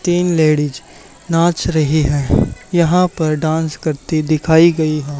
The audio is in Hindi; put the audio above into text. तीन लेडीज नाच रही हैं यहां पर डांस करती दिखाई गई हैं।